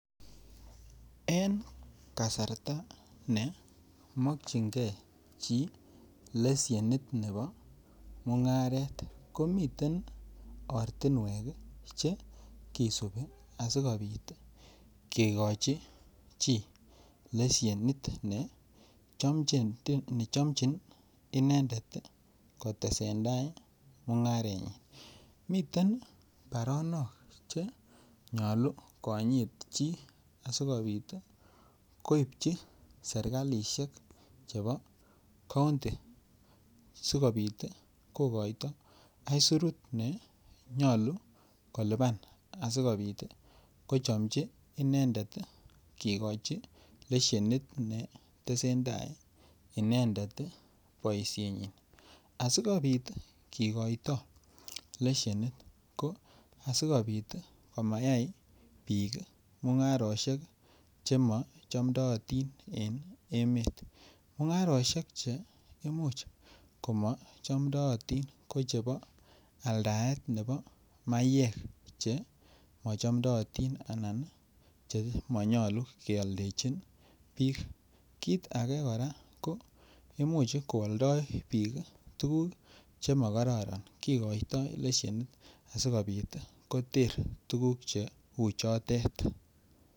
En kasarta ne mokyingee chi leshenit nebo mung'aret komiten ortinwek ii che kisupi asikopit kigochi chi leshenit ne chomchin inendet kotesen tai mung'arenyin. Miten baronok che nyoluu konyit chi asikopit ii koipchi serkalishek chebo kounti sikopit ii kogoito aisurut ne nyoluu kolipan asikopit ii ko chomchi inendet ii kigochi leshenit ne tesentai inendet ii boishenyin, asikopit kigoito leshenit ko asikopit komayay biik mung'aroshek chemo chomdoi otin en emet. Mung'aroshek che imuch komo chomdoi otin ko chebo aldaet nebo mayek che mochomdoi otin anan ko che monyoluu kyoldechin biik. Kit age koraa ko imuch ko oldoi bik tuguk che mokororon kigoito leshenit asikopit koter tuguk che uchotet.